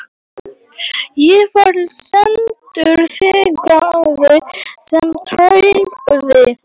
Ég var sendur þangað sem trúboði.